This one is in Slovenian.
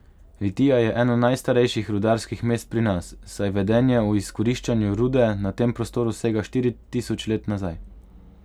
Litija je eno najstarejših rudarskih mest pri nas, saj vedenje o izkoriščanju rude na tem prostoru sega štiri tisoč let nazaj.